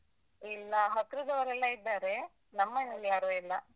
ಇಲ್ಲ. ಹತ್ರದವರೆಲ್ಲ ಇದ್ದಾರೆ, ನಮ್ಮ್ ಮನೇಲ್ ಯಾರೂ ಇಲ್ಲ.